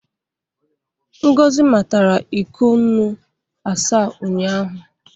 Ngozi matara iko nnu asaa ụnyaahụ.